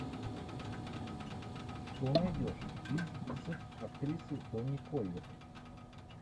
что найдешь из актрисы тони коллетт